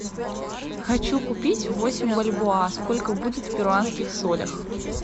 хочу купить восемь бальбоа сколько будет в перуанских солях